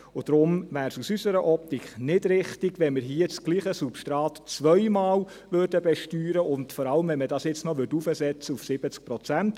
Deshalb wäre es aus unserer Optik nicht richtig, wenn wir hier dasselbe Substrat zweimal besteuerten, insbesondere, wenn man es jetzt noch auf 70 Prozent heraufsetzte.